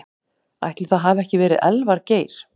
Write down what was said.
Ætli það hafi ekki verið Elvar Geir.